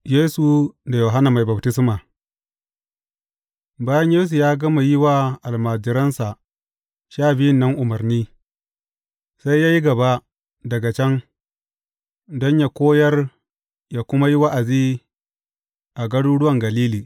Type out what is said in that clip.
Yesu da Yohanna Mai Baftisma Bayan Yesu ya gama yi wa almajiransa sha biyun nan umarni, sai ya yi gaba daga can don yă koyar yă kuma yi wa’azi a garuruwan Galili.